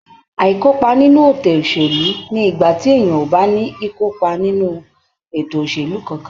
Aikopa nínú ètò òṣèlú ni igbati èèyàn ò bá ní ikopa nínú ètò òṣèlú kánkán.